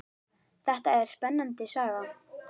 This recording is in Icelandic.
Þetta er spennandi saga.